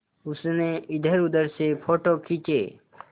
उसने इधरउधर से फ़ोटो खींचे